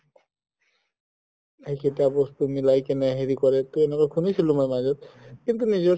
এইকেইটা বস্তু মিলাই কিনে হেৰি কৰে তৌ এনেকুৱা মই শুনিছিলো মাজত কিন্তু নিজৰ